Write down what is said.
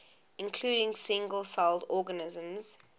including single celled organisms